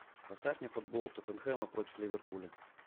поставь мне футбол тоттенхэма против ливерпуля